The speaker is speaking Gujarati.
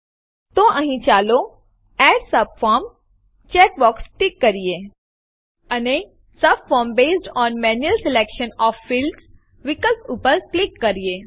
તો અહીં ચાલો એડ સબફોર્મ ચેકબોક્સ ટીક કરીએ અને subform based on manual selection of fields વિકલ્પ પર ક્લિક કરીએ